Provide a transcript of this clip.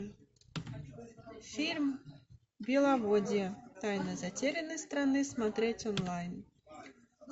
фильм беловодье тайна затерянной страны смотреть онлайн